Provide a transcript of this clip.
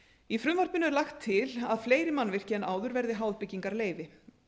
í frumvarpinu er lagt til að fleiri mannvirki en áður verði háð byggingarleyfi